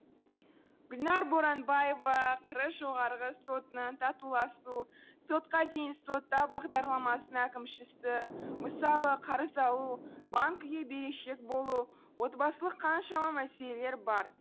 гүлнәр боранбаева қр жоғарғы сотының татуласу сотқа дейін сотта бағдарламасының әкімшісі мысалы қарыз алу банкіге берешек болу отбасылық қаншама мәселелер бар